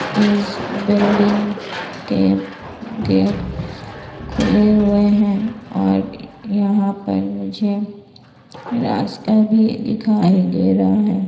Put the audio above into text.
इस बिल्डिंग के गेट खुले हुए हैं और यहां पर मुझे रास्ता भी दिखाई दे रहा हैं।